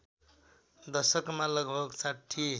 दशकमा लगभग ६०